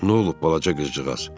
Nə olub, balaca qızcıqaz?